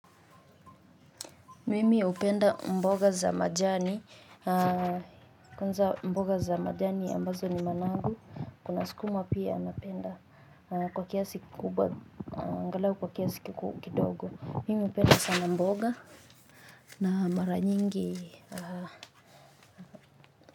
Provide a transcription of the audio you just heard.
Mimi hupenda mboga za majani kwanza mboga za majani ambazo ni manangu. Kuna sukuma pia mapenda kwa kiasi kubwa angalau kwa kiasi kidogo. Mimi hupenda sana mboga na mara nyingi.